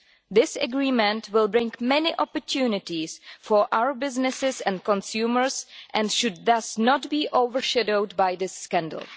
This agreement will bring many opportunities for our businesses and consumers and should thus not be overshadowed by this scandal.